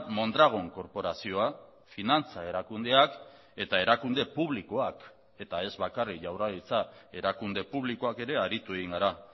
mondragon korporazioa finantza erakundeak eta erakunde publikoak eta ez bakarrik jaurlaritza erakunde publikoak ere aritu egin gara